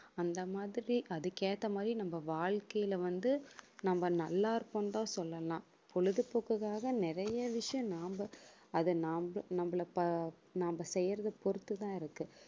அந்த மாதிரி அதுக்கு ஏத்த மாதிரி நம்ம வாழ்க்கையில வந்து, நம்ம நல்லா இருக்கோம்ன்னுதான் சொல்லலாம் பொழுதுபோக்குக்காக நிறைய விஷயம் நாம அதை நாம நம்மள ப~ நாம செய்யறதை பொறுத்துதான் இருக்கு